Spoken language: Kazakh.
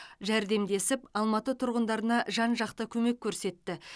жәрдемдесіп алматы тұрғындарына жан жақты көмек көрсетті